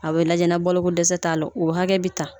A bɛ lajɛ na ni balokodɛsɛ t'a la o hakɛ bɛ ta